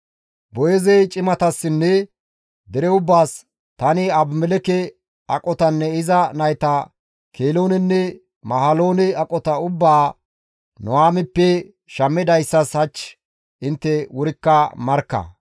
Boo7eezey cimatassinne dere ubbaas, «Tani Abimelekke aqotanne iza nayta Keloonenne Mahaloone aqota ubbaa Nuhaamippe shammidayssas hach intte wurikka markka.